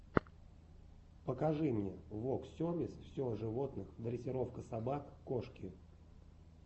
покажи мне воксервис все о животных дрессировка собак кошки